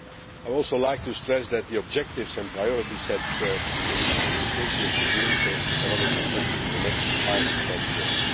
I would also like to stress that the objectives and priorities set in the communication will produce economic effects in the next five to ten years.